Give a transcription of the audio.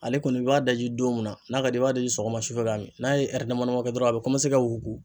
Ale kɔni i b'a daji don min na n'a ka d'i ye i b'a daji sɔgɔma su fɛ ka min n'a ye dama dama kɛ dɔrɔn a bɛ kɔmanse ka wuruku.